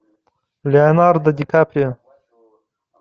леонардо ди каприо